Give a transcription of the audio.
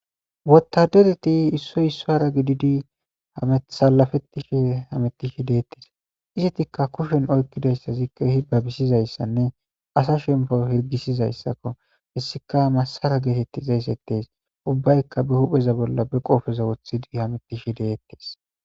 wotadereti issoy issahara gididi salafettishe hamettishe deettees izetikka kushen oykkidayssa zikka hibabisizayssanne asa shempo hergisizayssakko hessika masara geetettiza ysettees ubbaykka be hupheza bolla be qoofeza wothidi hamettishe deettees